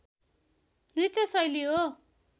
नृत्य शैली हो